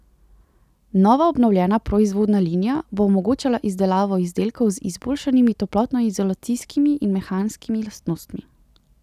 Nova obnovljena proizvodna linija bo omogočala izdelavo izdelkov z izboljšanimi toplotnoizolacijskimi in mehanskimi lastnostmi.